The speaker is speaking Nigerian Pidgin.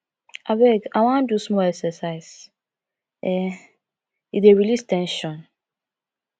abeg i wan do small exercise um e dey release ten sion